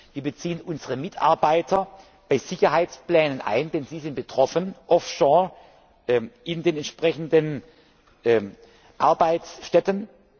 Wir beziehen unsere Mitarbeiter bei Sicherheitsplänen ein, denn sie sind betroffen, offshore in den entsprechenden Arbeitsstätten.